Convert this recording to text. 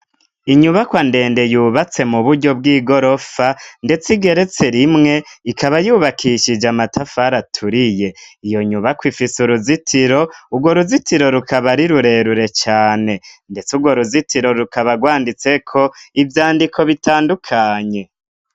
Inyubakwa ndende, yubatse mu buryo bw'igorofa, ndetse igeretse rimwe, ikaba yubakishije amatafari aturiye, iyo nyubakwa ifise uruzitiro, urwo ruzitiro rukaba ari rurerure cane, ndetse urwo ruzitiro rukaba rwanditseko ivyandiko bitandukanye.